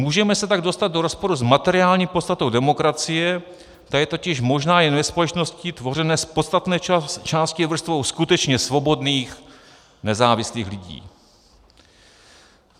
Můžeme se tak dostat do rozporu s materiální podstatou demokracie, ta je totiž možná jen ve společnosti tvořené z podstatné části vrstvou skutečně svobodných, nezávislých lidí.